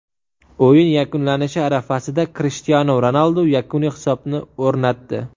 O‘yin yakunlanishi arafasida Krishtianu Ronaldu yakuniy hisobni o‘rnatdi.